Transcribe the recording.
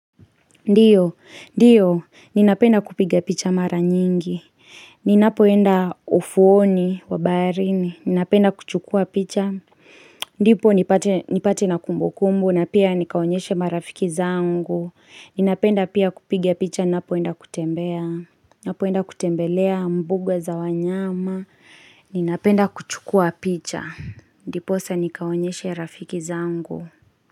Ndiyo, ndiyo, ninapenda kupiga picha mara nyingi, ninapoenda ufuoni wa baharini, ninapenda kuchukua picha. Ndipo nipate na kumbukumbu, na pia nikaonyeshe marafiki zangu, ninapenda pia kupiga picha ninapoenda kutembelea mbuga za wanyama, ninapenda kuchukua picha. Ndiposa nikaonyeshe rafiki zangu.